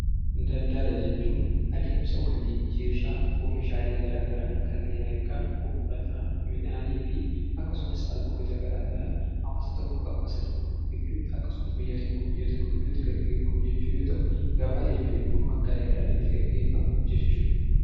Daldalaa jechuun addemsaa wal jijjiraa oomishaalee gara garaa kannen akka uffata, midhannifi akkasumaas albuuda gara garaa hawaasa tokko hawaasa tokko gidduuti akkasumaas biyya tokko biyyaa tokko giduutti geggefamuu yoo ta'u, Gabaa jechuun immoo akka daldalii itti geggefamuu jechuudha.